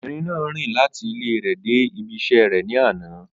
Obìnrin náà rìn láti ilẹ rẹ̀ dé ibí iṣẹ́ rẹ̀ ní àná.